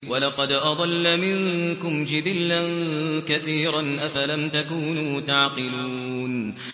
وَلَقَدْ أَضَلَّ مِنكُمْ جِبِلًّا كَثِيرًا ۖ أَفَلَمْ تَكُونُوا تَعْقِلُونَ